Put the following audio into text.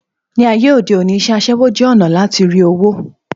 Ní ayé òde òní, isé aṣẹ́wó jẹ́ ònà lati rí owó